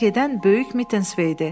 Zəng edən böyük Mitensvedir.